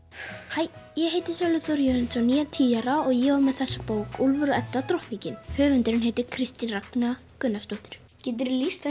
hæ ég heiti Sölvi Þór Jörundsson ég er tíu ára og ég var með þessa bók Úlfur og Edda drottningin höfundurinn heitir Kristín Ragna Gunnarsdóttir geturðu lýst